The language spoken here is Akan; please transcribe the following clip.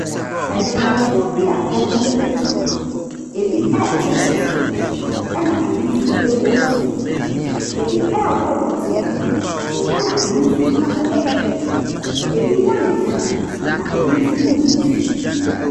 Adwumayɛfoɔ bi a wɔreyɛ adwuma. Ebi rete nnɔteɛ, ɛnna ebi nso rekɔ nsuo. Ebi rehoro nnɔteɛ no, ɛnna ebi nso gyina hɔ rehwɛ. Ebi ho ayɛ fi, na ebi nso nyɛɛ fi.